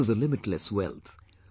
This is a limitless wealth